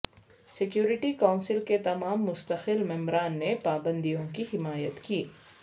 security council کے تمام مستقل ممبران نے پابندیوں کی حمایت کی